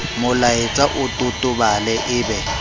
molaetsa o totobale e be